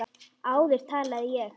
Áður talaði ég.